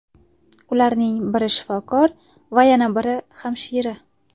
Ularning biri shifokor va yana biri hamshira.